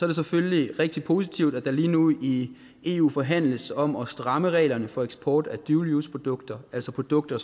det selvfølgelig rigtig positivt at der lige nu i eu forhandles om at stramme reglerne for eksport af dual use produkter altså produkter